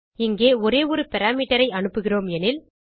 இங்கே ஒரு ஒரு parameterஐ அனுப்புகிறோம் எனில்